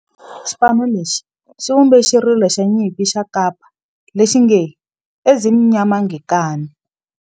Xipano lexi xi vumbe xirilo xa nyimpi xa kampa lexi nge Ezimnyama Ngenkani.